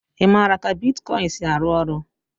Ị maara ka bitkọịn si arụ ọrụ?